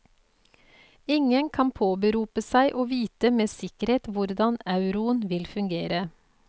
Ingen kan påberope seg å vite med sikkerhet hvordan euroen vil fungere.